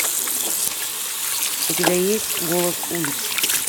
у тебя есть голос улиц